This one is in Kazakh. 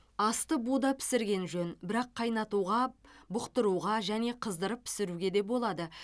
асты буда пісірген жөн бірақ қайнатуға бұқтыруға және қыздырып пісіруге де болады